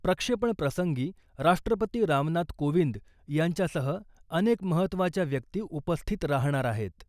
प्रक्षेपणप्रसंगी राष्ट्रपती रामनाथ कोविंद यांच्यासह अनेक महत्त्वाच्या व्यक्ती उपस्थित राहणार आहेत.